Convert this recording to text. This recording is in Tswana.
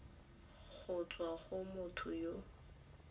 go tswa go motho yo